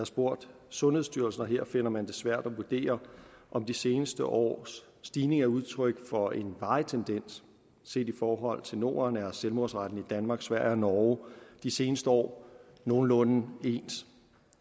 spurgt sundhedsstyrelsen og her finder man det svært at vurdere om de seneste års stigning er udtryk for en varig tendens set i forhold til norden er selvmordsraten i danmark sverige og norge de seneste år nogenlunde ens